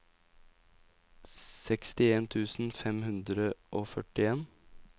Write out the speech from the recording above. sekstien tusen fem hundre og førtien